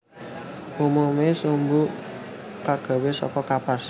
Umume sumbu kagawe saka kapas